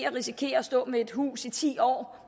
risikere at stå med et hus i ti år